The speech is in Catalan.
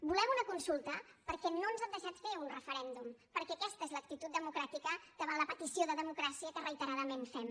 volem una consulta perquè no ens han deixat fer un referèndum perquè aquesta és l’actitud democràtica davant la petició de democràcia que reiteradament fem